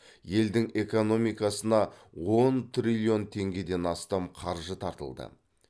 елдің экономикасына он триллион теңгеден астам қаржы тартылды